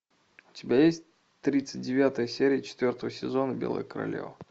у тебя есть тридцать девятая серия четвертого сезона белая королева